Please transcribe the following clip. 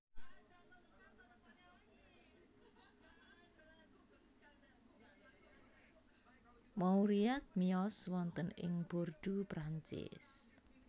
Mauriac miyos wonten ing Bordeaux Prancis